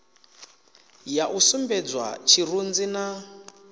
ya u sumbedzwa tshirunzi na